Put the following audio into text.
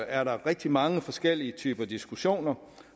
er rigtig mange forskellige diskussioner